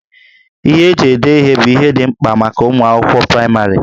Ihe eji ede ihe bụ ihe dị mkpa maka ụmụ akwụkwọ praịmarị